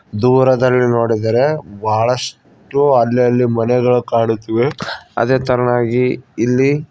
ದೂರದಲ್ಲಿ ನೋಡಿದರೆ ಬಹಳಷ್ಟು ಅಲ್ಲ ಅಲ್ಲಿ ಮನೆಗಳು ಕಾಡುತ್ತಿವೆ ಅದೇ ತರನಾಗಿ ಇಲ್ಲಿ--